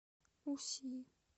уси